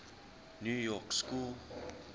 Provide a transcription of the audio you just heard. new york school